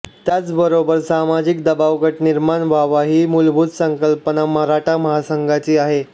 त्याचबरोबर सामाजिक दबावगट निर्माण व्हावा ही मुलभूत संकल्पना मराठा महासंघाची आहे